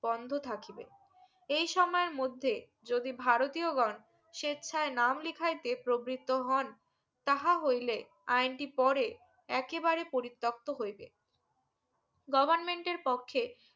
বন্ধ থাকিবে এই সময়ের মধ্যে যদি ভারতীয় গন সেচ্ছায় নাম লেখায়তে প্রবির্ত্য হন তাঁহা হইলে আইনটি পরে এঁকে বারে পরিত্যক্ত হইবে government এর পক্ষে